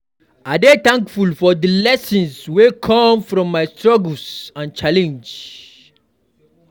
I dey thankful for the lessons wey come from my struggles and challenges.